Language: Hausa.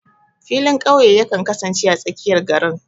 Filin ƙauye yakan kasance a tsakiyar garin.